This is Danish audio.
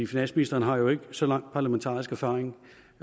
finansministeren har jo ikke så lang parlamentarisk erfaring